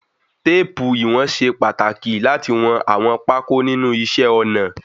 Téèpù iwọn ṣe pàtàkì láti wọn àwọn pákó nínú iṣẹ́ ọnà.